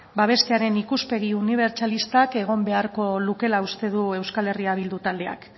babestearen ikuspegi unibertsalistak egon beharko lukeela uste du eh bildu taldeak